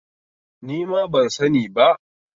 Nima ban sani ba